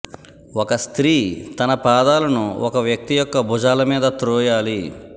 ఒక స్త్రీ తన పాదాలను ఒక వ్యక్తి యొక్క భుజాల మీద త్రోయాలి